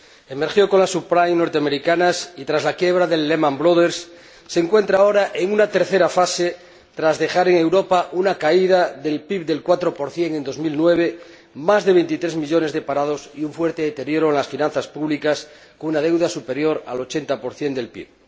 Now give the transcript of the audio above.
Emergió con las subprimes norteamericanas y, tras la quiebra de Lehman Brothers, se encuentra ahora en una tercera fase, tras dejar en Europa una caída del PIB del 4 en 2009, más de 23 millones de parados y un fuerte deteríoro en las finanzas públicas, con una deuda superior al 80 del PIB.